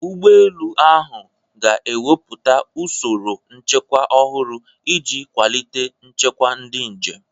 Ụgbọ elu ahụ ga-ewepụta usoro nchekwa ọhụrụ iji kwalite nchekwa ndị njem.